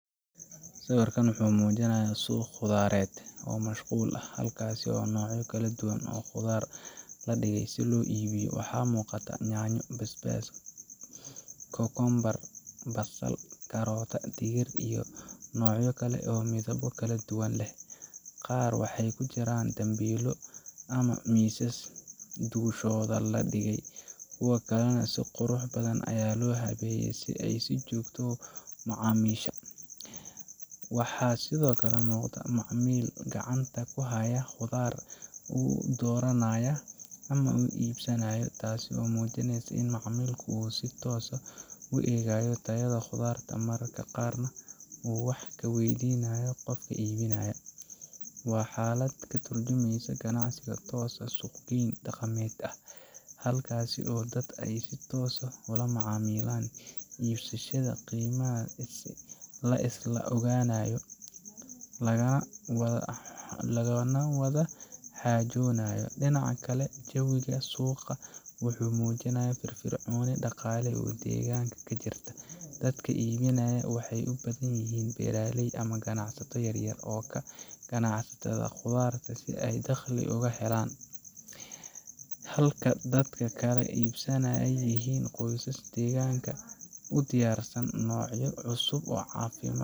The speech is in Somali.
Sawirkan wuxuu muujinayaa suuq khudradeed oo mashquul ah, halkaas oo noocyo kala duwan oo khudrad ah la dhigay si loo iibiyo. Waxaa muuqata yaanyo, basbaas, kookoombar, basal, karootada, digir, iyo noocyo kale oo midabbo kala duwan leh. Qaar waxay ku jiraan dambiilo ama miisas dushooda la dhigay, kuwa kalena si qurux badan ayaa loo habeeyey si ay u soo jiitaan macaamiisha. Waxaa sidoo kale muuqda macmiil gacanta ku haya khudrad uu dooranayo ama iibsanayo. Taasi waxay muujinaysaa in macaamilka uu si toos ah u eegayo tayada khudradda, mararka qaarna uu wax ka weydiinayo qofka iibinaya. Waa xaalad ka tarjumeysa ganacsi toos ah oo suuq geyn dhaqameed ah, halkaas oo dadka ay si toos ah ula macaamilaan iibiyeyaasha, qiimaha la isla ogaanayo, lagana wada xaajoonayo. Dhinaca kale, jawiga suuqan wuxuu muujinayaa firfircooni dhaqaale oo deegaanka ka jirta. Dadka iibinaya waxay u badan yihiin beeraley ama ganacsato yar-yar oo ka ganacsada khudradda si ay dakhli uga helaan, halka dadka kala iibsanayana ay yihiin qoysaska deegaanka u diyaarsan inay cuntoo cusub oo caafimaad.